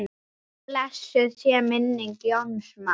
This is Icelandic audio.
Blessuð sé minning Jóns Mars.